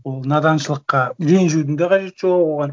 ол наданшылыққа ренжудін да қажеті жоқ оған